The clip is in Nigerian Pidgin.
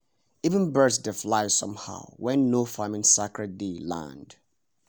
even birds dey fly somehow when no-farming sacred day land